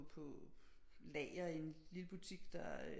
På lager i en lille butik der